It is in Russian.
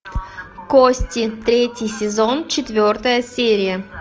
кости третий сезон четвертая серия